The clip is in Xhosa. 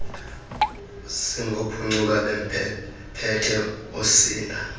singophuncuka bemphethe oosinda